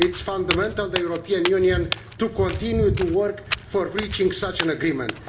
It is fundamental to the European Union to continue to work towards reaching such an agreement.